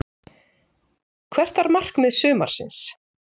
Hvert var markmið sumarsins?